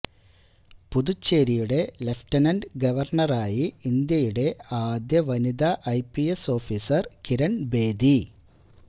പുതുച്ചേരിയുടെ lieutenant ഗവർണറായി ഇന്ത്യയുടെ ആദ്യ വനിതാ I P S officer Kiran Bedi